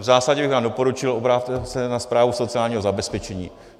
V zásadě bych vám doporučil obrátit se na správu sociálního zabezpečení.